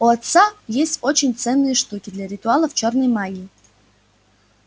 у отца есть очень ценные штуки для ритуалов чёрной магии